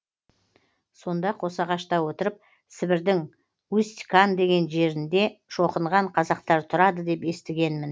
сонда қосағашта отырып сібірдің усть кан деген жерінде шоқынған қазақтар тұрады деп естігенмін